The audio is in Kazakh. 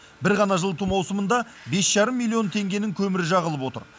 бір ғана жылыту маусымында бес жарым миллион теңгенің көмірі жағылып отыр